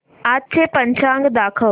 आजचं पंचांग दाखव